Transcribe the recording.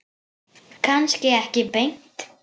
Kannski ekki beint.